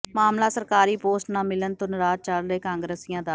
ਮਾਮਲਾ ਸਰਕਾਰੀ ਪੋਸਟ ਨਾ ਮਿਲਣ ਤੋਂ ਨਾਰਾਜ਼ ਚੱਲ ਰਹੇ ਕਾਂਗਰਸੀਆਂ ਦਾ